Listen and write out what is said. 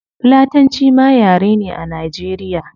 Fulatanci ma yare ne a nigeria